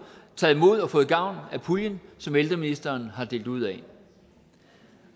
taget imod og fået gavn af puljen som ældreministeren har delt ud af